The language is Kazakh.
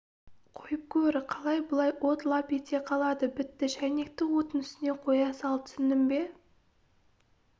қойып көр қалай былай от лап ете қалады бітті шайнекті оттың үстіне қоя сал түсіндің бе